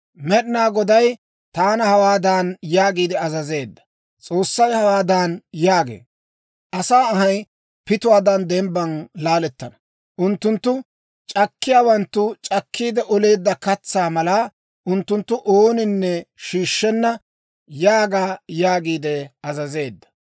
Med'inaa Goday taana hawaadan yaagiide azazeedda; «S'oossay hawaadan yaagee; ‹Asaa anhay pituwaadan dembban laalettana; unttunttu c'akkiyaawanttu c'akkiide oleedda katsaa mala; unttuntta ooninne shiishshenna› yaaga» yaagiide azazeedda.